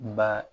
Ba